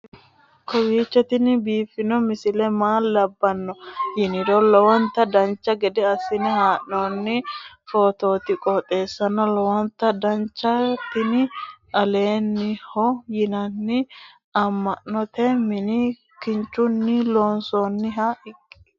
kowiicho tini biiffanno misile maa labbanno yiniro lowonta dancha gede assine haa'noonni foototi qoxeessuno lowonta danachaho. tini lalibelaho yinanni amma'note mini kinchunni loonsoonniho kuni